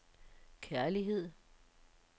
kærlighed